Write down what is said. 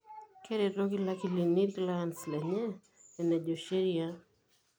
Keretoki Ilakilini ilclients lenye enejo sheria.